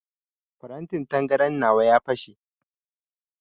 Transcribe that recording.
Farantin tangaran nawa ya fashe.